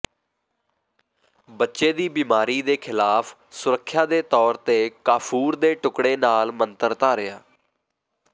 ਬੱਚੇ ਦੀ ਬੀਮਾਰੀ ਦੇ ਖਿਲਾਫ ਸੁਰੱਖਿਆ ਦੇ ਤੌਰ ਤੇ ਕਾਫੂਰ ਦੇ ਟੁਕੜੇ ਨਾਲ ਮੰਤਰ ਧਾਰਿਆ